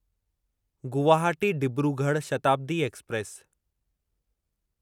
Guwahati Dibrugarh Shatabdi express